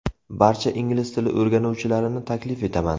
Barcha ingliz tili o‘rganuvchilarini taklif etaman!